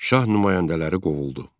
Şah nümayəndələri qovuldu.